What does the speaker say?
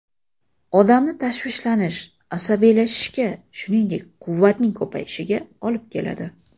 Odamni tashvishlanish, asabiylashishga, shuningdek, quvvatning ko‘payishiga olib keladi.